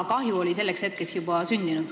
Kahju oli selleks hetkeks juba sündinud.